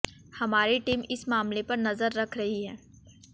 हमारी टीम इस मामले पर नजर रख रही है